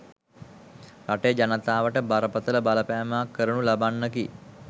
රටේ ජනතාවට බරපතල බලපෑමක් කරනු ලබන්නකි.